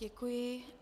Děkuji.